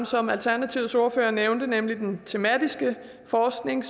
som alternativets ordfører også nævnte nemlig den tematiske forskning